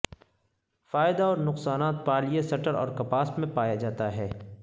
فائدہ اور نقصانات پالئیےسٹر اور کپاس میں پایا جاتا ہے